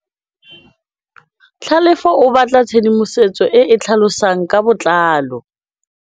Tlhalefô o batla tshedimosetsô e e tlhalosang ka botlalô.